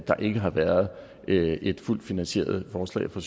der ikke har været et fuldt finansieret forslag fra